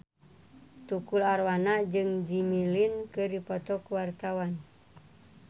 Tukul Arwana jeung Jimmy Lin keur dipoto ku wartawan